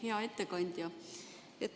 Hea ettekandja!